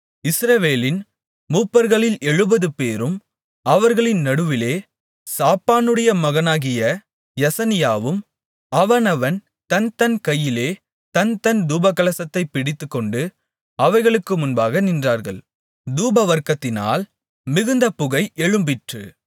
இஸ்ரவேலின் மூப்பர்களில் எழுபதுபேரும் அவர்களின் நடுவிலே சாப்பானுடைய மகனாகிய யசனியாவும் அவனவன் தன்தன் கையிலே தன்தன் தூபகலசத்தைப் பிடித்துக்கொண்டு அவைகளுக்கு முன்பாக நின்றார்கள் தூபவர்க்கத்தினால் மிகுந்த புகை எழும்பிற்று